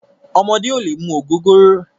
Ọmọdé ò lè mu ògógóró.